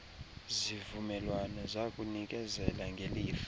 zivumelwano zakunikezela ngelifa